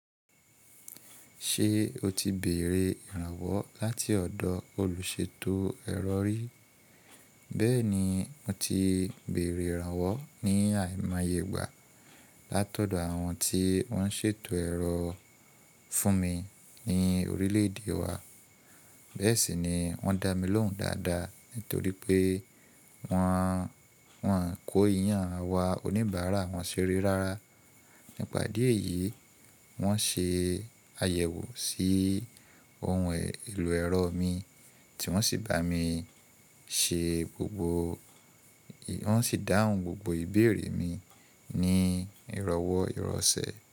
Ṣé o ti bèrè ìrànwọ́ láti ọ̀dọ̀ olùṣètò ẹ̀rọ rí? Bẹ́ẹ̀ni, mo ti bèrè ìrànwọ́ ní àìmáyè igbà látọ̀dọ̀ àwọn tí wọ́n ń ṣètò ẹ̀rọ fún mi ní orílẹ̀-èdè wa. Bẹ́ẹ̀ sì ni wọ́n dá mi lóhùn dáadáa nítorí pé wọ́n, wọ́n kò yàn àwa oníbàárà wọn ṣe rere rárá. Nípa díẹ̀ yìí, wọ́n ṣe àyẹ̀wò sí ohun èlò ẹ̀rọ mi tí wọ́n sì bá mi ṣe gbogbo, wọ́n sì dáhùn gbogbo ìbéèrè mi ní ìrànwọ́ ìrọ̀sẹ̀.